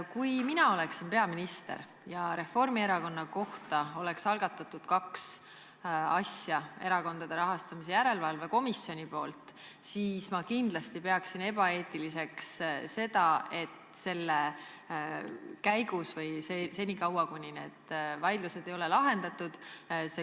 Kui mina oleksin peaminister ja Erakondade Rahastamise Järelevalve Komisjon oleks Reformierakonna kohta algatanud kaks asja, siis ma kindlasti peaksin ebaeetiliseks, et see komisjon kaob enne, kui need vaidlused on lahendatud.